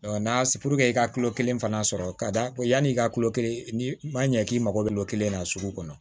n'a i ka kilo kelen fana sɔrɔ ka d'a ma yanni i ka kulo kelen ni ma ɲɛ k'i mago bɛ n'o kelen na sugu kɔnɔ